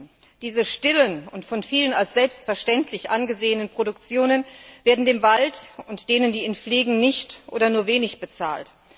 Für diese stillen und von vielen als selbstverständlich angesehenen Funktionen des Waldes wird denen, die ihn pflegen, nichts oder nur wenig bezahlt.